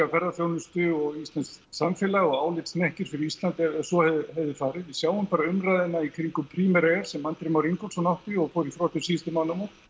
ferðaþjónustu og íslenskt samfélag og álitshnekkir fyrir Ísland ef svo hefði farið við sjáum bara umræðuna í kringum Primera air sem Andri Már Ingólfsson átti og fór í þrot um síðustu mánaðamót